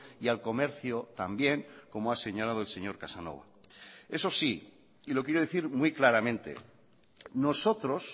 y al comercio también como ha señalado el señor casanova eso sí y lo quiero decir muy claramente nosotros